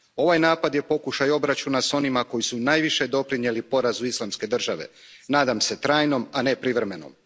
Ovaj napad je pokušaj obračuna s onima koji su najviše doprinijeli porazu Islamske države. Nadam se trajnom, a ne privremenom.